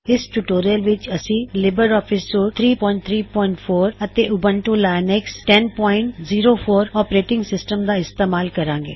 ਇਸ ਟਿਊਟੋਰਿਯਲ ਵਿੱਚ ਅਸੀ ਲਿਬਰ ਆਫਿਸ ਵਰਜ਼ਨ 334 ਅਤੇ ਉਬੰਟੂ ਲਿਨਕਸ੍ਹ 1004 ੳਪੇਰੇਟਿੰਗ ਸਿਸਟਮ ਦਾ ਇਸਤੇਮਾਲ ਕਰਾਂਗੇ